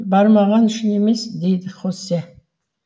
бармағаны үшін емес дейді хосе